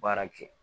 Baara kɛ